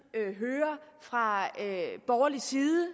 hører fra borgerlig side og